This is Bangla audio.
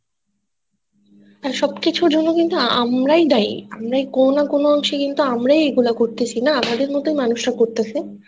আর সবকিছুর জন্য কিন্তু আমরাই দায়ি আমরাই কোন না কোন অংশে কিন্তু আমরাই এগুলো করতেছি না আমাদের মত মানুষরা করতেছে